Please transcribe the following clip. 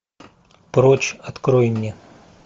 прочь открой мне